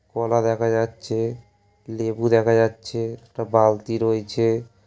কলা দেখা যাচ্ছে লেবু দেখা যাচ্ছে একটা বালতি রইছে।